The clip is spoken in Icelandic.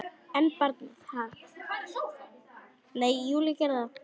En barnið?